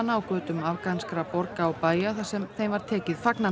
á götum afganskra borga og bæja þar sem þeim var tekið fagnandi